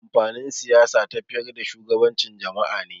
Amfanin Siyasa tafiyar da shugabancin jama'a ne.